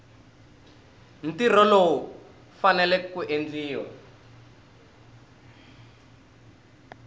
ntirho lowu faneleke ku endliwa